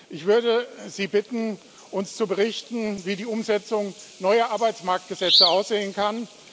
Ich würde Sie bitten, uns zu berichten, wie die Umsetzung neuer Arbeitsmarktgesetze aussehen kann